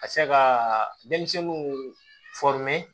Ka se ka denmisɛnninw